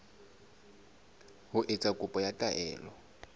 ho etsa kopo ya taelo